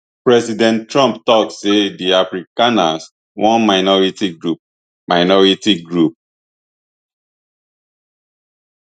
president trump tok say di afrikaners one minority group minority group